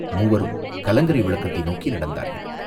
மூவரும் கலங்கரை விளக்கத்தை நோக்கி நடந்தார்கள்.